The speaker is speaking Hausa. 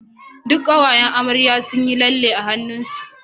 duk kawayan amarya sunyi lalle a hannun su